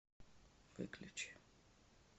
выключи